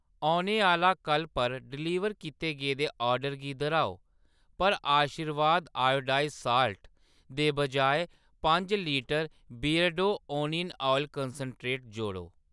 औने आह्‌ला कल्ल पर डलीवर कीते गेदे ऑर्डर गी दर्‌हाओ पर आशीर्वाद आयोडाइसड़ साॅल्ट दे बजाए पंज इक litre Beardo onion oil concentrate जोड़ो।